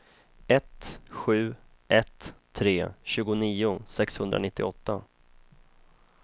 ett sju ett tre tjugonio sexhundranittioåtta